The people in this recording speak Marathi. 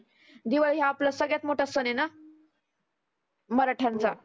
दिवाळी हा आपला सगळ्यात मोठा सण आहेना. मराठ्यांचा